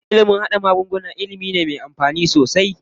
Ilimin haɗa magunguna ilimi ne me amfani sosai.